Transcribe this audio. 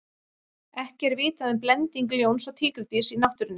ekki er vitað um blending ljóns og tígrisdýrs í náttúrunni